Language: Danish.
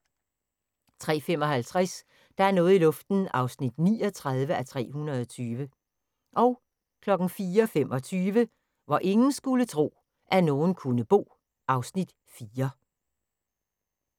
03:55: Der er noget i luften (39:320) 04:25: Hvor ingen skulle tro, at nogen kunne bo (Afs. 4)